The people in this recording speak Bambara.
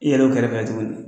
i yɛrɛ b'u kɛrɛfɛ yen tuguni .